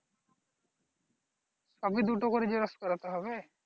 সবই দুটো করে xerox করাতে হবে